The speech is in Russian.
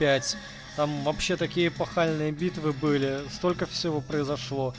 пять там вообще такие эпохальные битвы были столько всего произошло